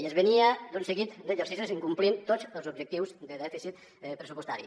i es venia d’un seguit d’exercicis incomplint tots els objectius de dèficit pressupostari